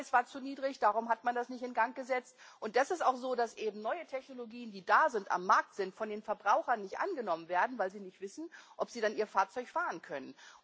Der Ölpreis war zu niedrig, darum hat man das nicht in Gang gesetzt. Es ist auch so, dass eben neue, auf dem Markt verfügbare Technologien von den Verbrauchern nicht angenommen werden, weil sie nicht wissen, ob sie dann ihr Fahrzeug fahren können.